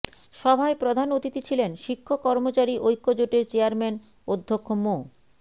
সভায় প্রধান অতিথি ছিলেন শিক্ষক কর্মচারী ঐক্যজোটের চেয়ারম্যান অধ্যক্ষ মো